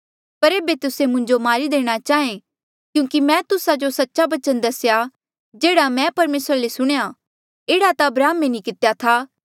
पर एेबे तुस्से मुंजो मारी देणा चाहें क्यूंकि मैं तुस्सा जो सच्चा बचन दसेया जेह्ड़ा मैं परमेसरा ले सुणेयां एह्ड़ा ता अब्राहमे नी कितेया था